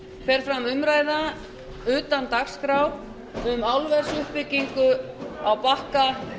fer fram umræða utan dagskrár um álversuppbyggingu á bakka